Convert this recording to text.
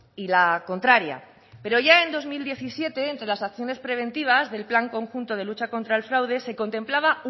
y la contraria pero ya en dos mil diecisiete entre las acciones preventivas del plan conjunto de lucha contra el fraude se contemplaba